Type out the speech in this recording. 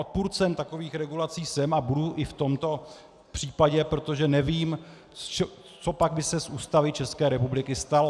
Odpůrcem takových regulací jsem a budu i v tomto případě, protože nevím, co by se pak z Ústavy České republiky stalo.